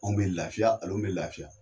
Anw bɛ laafiya bɛ laafiya.